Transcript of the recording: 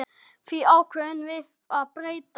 Því ákváðum við að breyta.